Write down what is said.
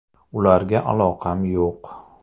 Ularga aloqam yo‘q.